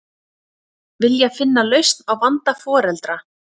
Vilja finna lausn á vanda foreldra